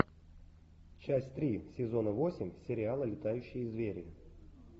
часть три сезона восемь сериала летающие звери